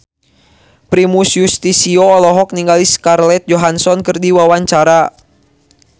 Primus Yustisio olohok ningali Scarlett Johansson keur diwawancara